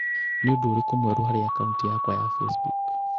nĩ ũndũ ũrĩkũ mwerũ harĩ akaunti yakwa ya facebook